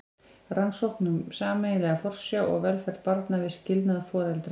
Rannsókn um sameiginlega forsjá og velferð barna við skilnað foreldra.